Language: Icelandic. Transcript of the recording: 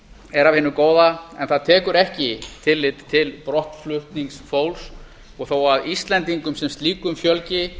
er af hinu góða en það tekur ekki tillit til brottflutnings fólks og þó að íslendingum sem slíkum fjölgi